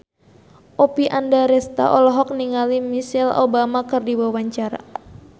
Oppie Andaresta olohok ningali Michelle Obama keur diwawancara